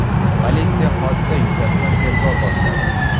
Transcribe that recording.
Politsiya hodisa yuzasidan tergov boshladi.